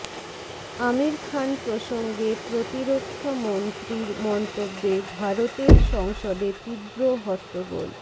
আমীর খান প্রসঙ্গে প্রতিরক্ষামন্ত্রীর মন্তব্যে ভারতের সংসদে তীব্র হট্টগোল